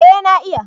Eh na iya